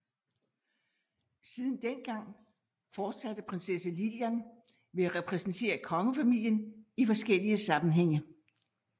Siden den gang fortsatte prinsesse Lilian med at repræsentere kongefamilien i forskellige sammenhænge